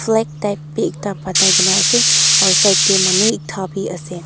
black kina asae aro side dae manu ekta bi asae.